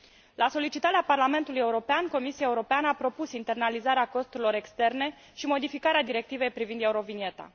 La solicitarea Parlamentului European, Comisia Europeană a propus internalizarea costurilor externe și modificarea Directivei privind eurovigneta.